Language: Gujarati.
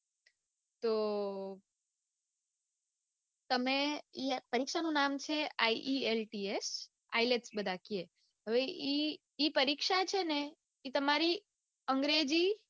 તો તમે પરીક્ષાનું નામ છે ielts ielts બધા કે હવે ઈ ઈ પરીક્ષા છે ને ઈ તમારી અંગ્રેજી